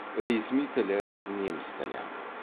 ресми тілі неміс тілі